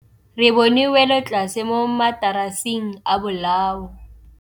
Re bone wêlôtlasê mo mataraseng a bolaô.